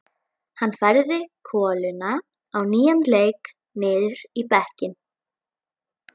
Hann færði koluna á nýjan leik niður í bekkinn.